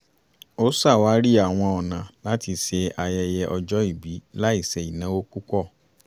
ó ṣàwárí àwọn ọna láti ṣe ayẹyẹ ọjọ́-ìbí láì ṣe ìnáwó púpọ̀